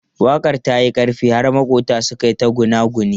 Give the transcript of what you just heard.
Waƙar ta yi ƙarfi har maƙwabta suka yi ta gunaguni.